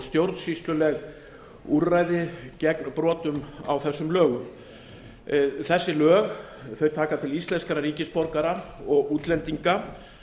stjórnsýsluleg úrræði gegn brotum á þessum lögum þessi lög taka til íslenskra ríkisborgara og útlendinga